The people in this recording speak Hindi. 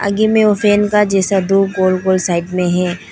आगे में वो फैन का जैसा दो गोल-गोल साइड में है।